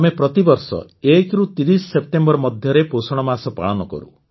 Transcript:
ଆମେ ପ୍ରତିବର୍ଷ ୧ରୁ ୩୦ ସେପ୍ଟେମ୍ବର ମଧ୍ୟରେ ପୋଷଣ ମାସ ପାଳନ କରୁ